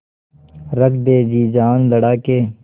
रख दे जी जान लड़ा के